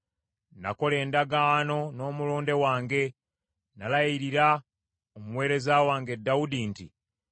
Nakola endagaano n’omulonde wange; nalayirira omuweereza wange Dawudi nti,